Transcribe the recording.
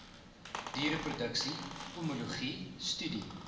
diereproduksie pomologie studie